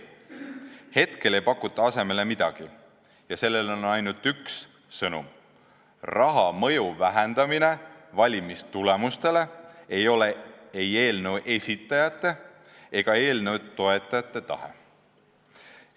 Hetkel ei pakuta asemele midagi ja sellel on ainult üks sõnum: raha mõju vähendamine valimistulemustele pole ei eelnõu esitajate ega eelnõu toetajate tahe.